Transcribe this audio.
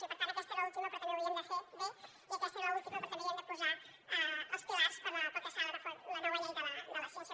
i per tant aquesta és l’última però també ho havíem de fer bé i aquesta és l’última però també hi havíem de posar els pilars per al que serà la nova llei de la ciència